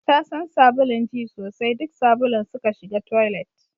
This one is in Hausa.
Tasan sabulun ji sai duk sabulun suka shiga toilet